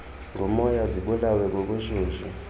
ngumoya zibulawe bubushushu